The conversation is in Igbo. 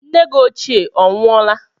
Nne gị ochie onwụọla?